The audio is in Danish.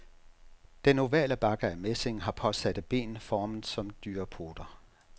Den ovale bakke af messing har påsatte ben formet som dyrepoter.